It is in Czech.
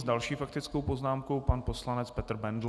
S další faktickou poznámkou pan poslanec Petr Bendl.